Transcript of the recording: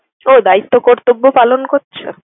ও দায়িত্ব কর্তব্য পালন করছে?